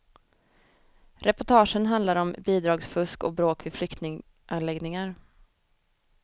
Reportagen handlar om bidragsfusk och bråk vid flyktinganläggningar.